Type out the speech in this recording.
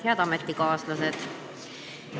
Head ametikaaslased!